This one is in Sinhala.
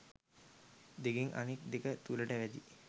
දෙකක් අනෙක් දෙක තුලට වැදී